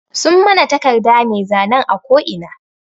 Sun mana taƙarda mai zanen a ƙo ina.